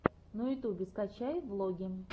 на ютубе скачай влоги